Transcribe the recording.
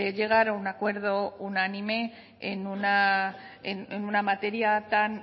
llegar a un acuerdo unánime en una materia tan